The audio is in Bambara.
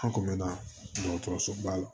An kun bɛ na dɔgɔtɔrɔsoba la